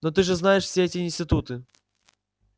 но ты же знаешь все эти институты